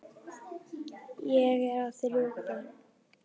Ég á þrjú börn.